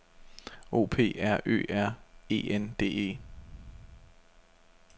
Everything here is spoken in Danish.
O P R Ø R E N D E